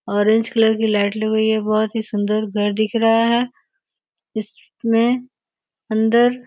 orange colour की light लग हुई है बहुत ही सुंदर घर दिख रहा है इसमें अंदर --